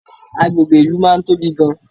Agbègbè ìlú máa ń tóbi gan